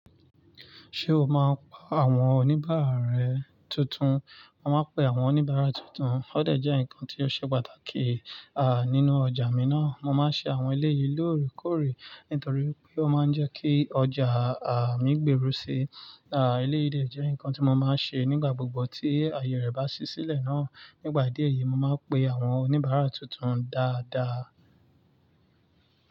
Ṣé o máa ń pa àwọn oníbàárà rẹ tuntun? Mo máa ń pe àwọn oníbàárà tuntun. Ó dẹ̀ jẹ́ nǹkan tí ó ṣe pàtàkì, nínú ọjà mi ná. Mo máa ń ṣe àwọn eleyìí lórekore, nítorí pé ó máa ń jẹ́ kí ọjà mí gbèrú si. Eleyìí dẹ̀ jẹ́ nǹkan tí mo máa ń ṣe nígbà gbogbo tí àyè rẹ̀ bá ṣí sílẹ̀ náà. Nígbà díẹ̀ yìí, mo máa pe àwọn oníbàárà tuntun dáadáa.